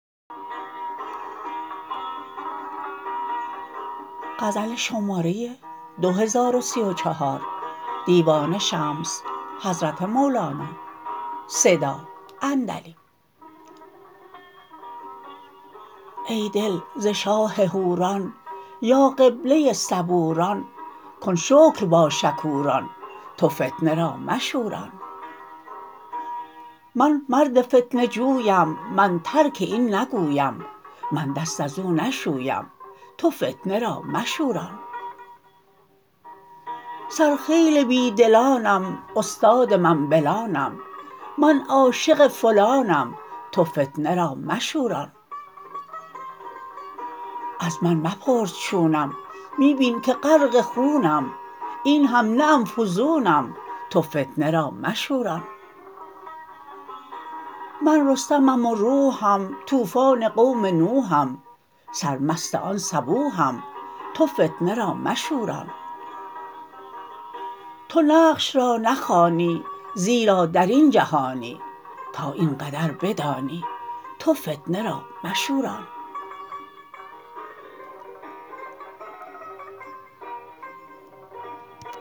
ای دل ز شاه حوران یا قبله صبوران کن شکر با شکوران تو فتنه را مشوران من مرد فتنه جویم من ترک این نگویم من دست از او نشویم تو فتنه را مشوران سرخیل بی دلانم استاد منبلانم من عاشق فلانم تو فتنه را مشوران از من مپرس چونم می بین که غرق خونم این هم نه ام فزونم تو فتنه را مشوران من رستمم و روحم طوفان قوم نوحم سرمست آن صبوحم تو فتنه را مشوران تو نقش را نخوانی زیرا در این جهانی تا این قدر بدانی تو فتنه را مشوران